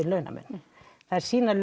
launamun þær sýna